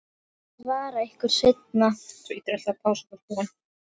Ég svara ykkur seinna.